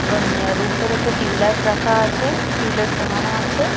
অম রুম -টাতে একটা টিউলাইট রাখা আছে টিউলাইট টাঙানো আছে।